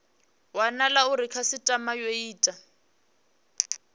wanala uri khasitama yo ita